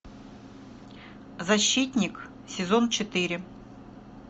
защитник сезон четыре